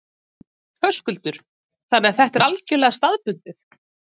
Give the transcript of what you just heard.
Höskuldur: Þannig að þetta er algjörlega staðbundið?